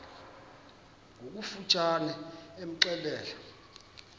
ngokofu tshane imxelele